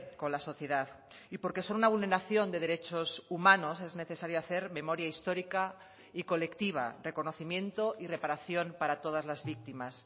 con la sociedad y porque son una vulneración de derechos humanos es necesario hacer memoria histórica y colectiva reconocimiento y reparación para todas las víctimas